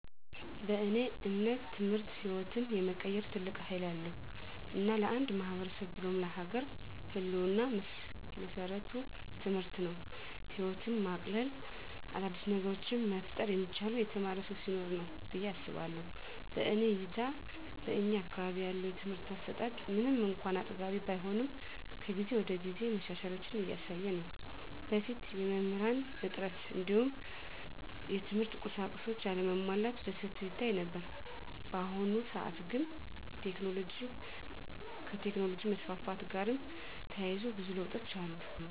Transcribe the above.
በእኔ እምነት ትምህርት ህይወትን የመቀየር ትልቅ ሀይል አለዉ። እና ለአንድ ማህበረሰብ ብሎም ለሀገር ህልወና መሰረቱ ትምህርት ነው። ህይወትን ማቅለል : አዳዲስ ነገሮችን መፍጠር የሚቻለው የተማረ ሰው ሲኖር ነው ብየ አስባለሁ። በእኔ እይታ በእኛ አካባቢ ያለው የትምህርት አሰጣት ምንም እንኳን አጥጋቢ ባይሆንም ከጊዜ ወደጊዜ መሻሻሎችን እያሳየ ነው። በፊት የመምህራን እጥረት እንዲሁም የትምህርት ቁሳቁሶች አለመሟላት በሰፊው ይታይ ነበር። በአሁኑ ሰአት ግን ከቴክኖሎጅ መስፋፋት ጋርም ተያይዞ ብዙ ለውጦች አሉ።